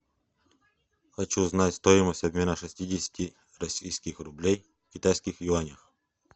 хочу знать стоимость обмена шестидесяти российских рублей в китайских юанях